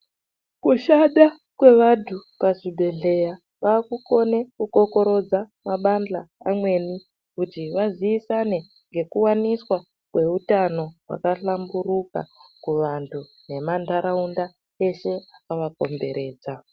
Kushanda kwevanhu pazvibhehleya vakukone kukokorodza mabandhla amweni kuti vazivisane ngekuwaniswa kweutano hwakahlamburuka kuvantu nemantaraunda eshe akavakomberedza.